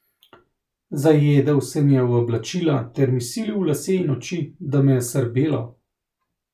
Zajedel se mi je v oblačila ter mi silil v lase in oči, da me je srbelo.